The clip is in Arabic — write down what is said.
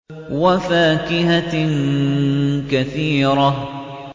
وَفَاكِهَةٍ كَثِيرَةٍ